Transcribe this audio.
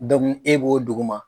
e b'o dugu ma.